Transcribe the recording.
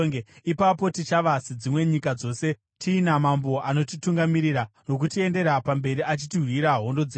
Ipapo tichava sedzimwe nyika dzose, tiina mambo anotitungamirira nokutiendera pamberi achitirwira hondo dzedu.”